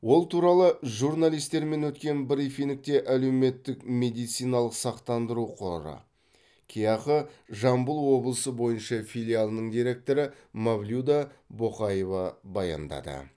ол туралы журналистермен өткен брифингте әлеуметтік медициналық сақтандыру қоры кеақ жамбыл облысы бойынша филиалының директоры мавлюда боқаева баяндады